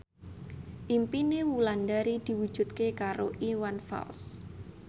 impine Wulandari diwujudke karo Iwan Fals